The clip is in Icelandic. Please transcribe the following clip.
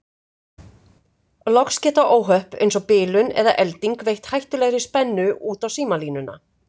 Loks geta óhöpp eins og bilun eða elding veitt hættulegri spennu út á símalínuna.